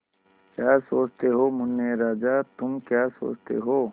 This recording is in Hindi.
क्या सोचते हो मुन्ने राजा तुम क्या सोचते हो